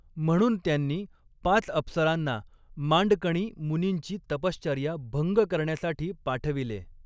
म्हणून त्यांनी पाच अप्सरांना मांडकणी मुनींची तपश्चर्या भंग करण्यासाठी पाठविले.